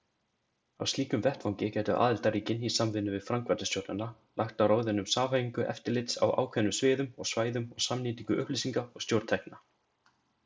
Á slíkum vettvangi gætu aðildarríkin, í samvinnu við framkvæmdastjórnina, lagt á ráðin um samhæfingu eftirlits á ákveðnum sviðum og svæðum og samnýtingu upplýsinga og stjórntækja.